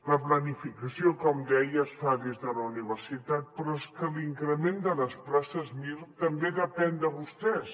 la planificació com deia es fa des de la universitat però és que l’increment de les places mir també depèn de vostès